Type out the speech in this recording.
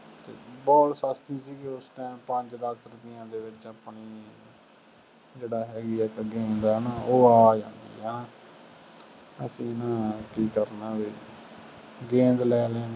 ball ਸਸਤੀ ਸੀ ਉਸ time ਪੰਜ ਦੱਸ ਰੁਪਇਆਂ ਦੀ ਦੇ ਦਿੰਦੇ ਆਪਣੀ ਜਿਹੜਾ ਹੈਗੀ ਹੈ ਚੱਲ game ਦਾ ਉਹ ਆ ਜਾਂਦੀ ਆ ਨਾ, ਅਸੀਂ ਨਾ ਕੀ ਕਰਨਾ ਫੇਰ ਗੇਂਦ ਲੈ ਲੈਣੀ,